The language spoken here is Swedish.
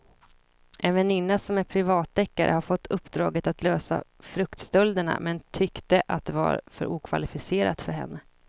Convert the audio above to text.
En väninna som är privatdeckare hade fått uppdraget att lösa fruktstölderna men tyckte att det var för okvalificerat för henne.